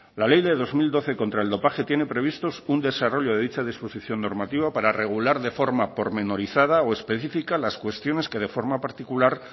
la ley del dos mil doce contra el dopaje tiene previstos un desarrollo de dicha disposición normativa para regular de forma pormenorizada o específica las cuestiones que de forma particular